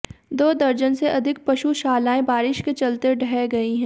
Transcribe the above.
दो दर्जन से अधिक पशुशालाएं बारिश के चलते ढह गई हैं